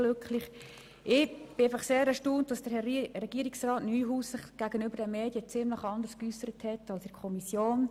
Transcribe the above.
Mich hat einfach sehr erstaunt, dass Herr Regierungsrat Neuhaus sich gegenüber den Medien ziemlich anders geäussert hat als in der Kommission.